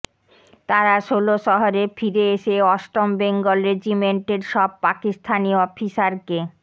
তারা ষোলশহরে ফিরে এসে অষ্টম বেঙ্গল রেজিমেন্টের সব পাকিস্তানি অফিসারকে